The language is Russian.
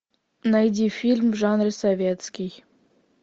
найди фильм в жанре советский